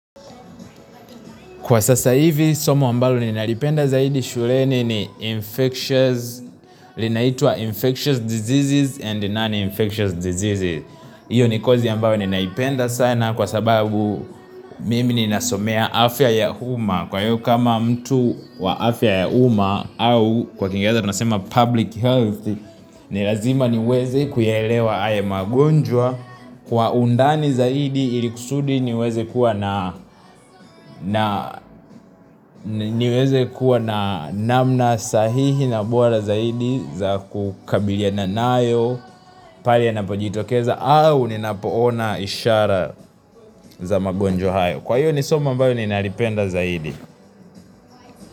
Kwa sasa hivi somo ambalo nilalipenda zaidi shuleni ni infectious linaitwa infectious diseases and non-infectious diseases Iyo ni kosi ambayo ninaipenda sana kwa sababu mimi ni nasomea afya ya uma kwa hiyo kama mtu wa afya ya uma au kwa kingereza tunasema public health ni lazima niweze kuyaelewa haya magonjwa kwa undani zaidi ilikusudi niweze kuwa na niweze kuwa na namna sahihi na bora zaidi za kukabiliana nayo pale yanapojitokeza au ninapoona ishara za magonjwa hayo. Kwa hiyo ni soma ambayo ninalipenda zaidi.